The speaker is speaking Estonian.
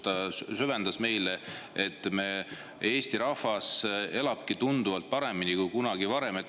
Ta sisendas meile, et Eesti rahvas elab tunduvalt paremini kui kunagi varem.